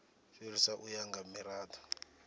fhirisa u ya nga mirado